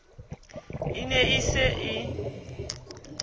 e ne e se e